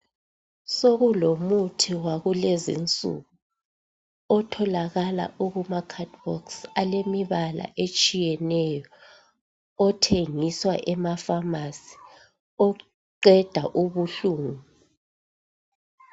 Sokulomuthi wakulezinsuku otholakala ukuma cardboards alemibala etshiyeneyo othengiswa ema pharmacy oqeda ubuhlungu